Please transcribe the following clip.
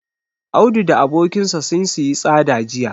Audu da abokinsa sun siyi tsada jiya.